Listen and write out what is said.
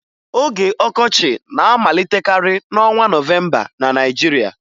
Oge ọkọchị na-amalitekarị n'ọnwa Nọvemba na Naịjirịa